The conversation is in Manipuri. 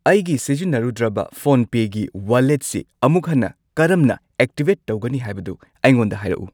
ꯑꯩꯒꯤ ꯁꯤꯖꯤꯟꯅꯔꯨꯗ꯭ꯔꯕ ꯐꯣꯟꯄꯦꯒꯤ ꯋꯥꯂꯦꯠꯁꯤ ꯑꯃꯨꯛ ꯍꯟꯅ ꯀꯔꯝꯅ ꯑꯦꯛꯇꯤꯚꯦꯠ ꯇꯧꯒꯅꯤ ꯍꯥꯏꯕꯗꯨ ꯑꯩꯉꯣꯟꯗ ꯍꯥꯏꯔꯛꯎ꯫